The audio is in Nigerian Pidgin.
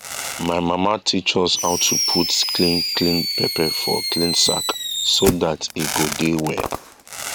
my mama teach us how to put clean clean pepper for clean sack so that e go dey well